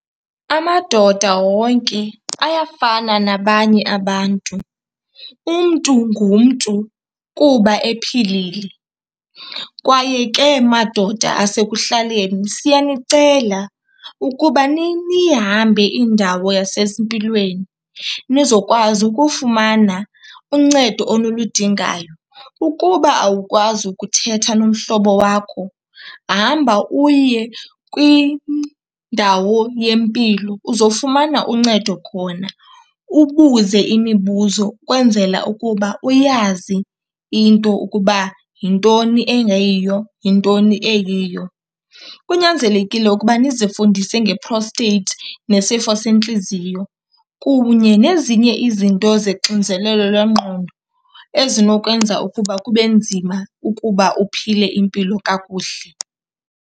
Amadoda wonke ayafana nabanye abantu. Umntu ngumntu kuba ephilile kwaye ke madoda asekuhlaleni siyanicela ukuba niyihambe indawo yasezimpilweni nizokwazi ukufumana uncedo onuludingayo. Ukuba awukwazi ukuthetha nomhlobo wakho, hamba uye kwindawo yempilo uzofumana uncedo khona, ubuze imibuzo ukwenzela ukuba uyazi into ukuba yintoni engeyiyo yintoni eyiyo. Kunyanzelekile ukuba nizifundise nge-prostate nesifo sentliziyo kunye nezinye izinto zexinzelelo lwengqondo ezinokwenza ukuba kube nzima ukuba uphile impilo kakuhle.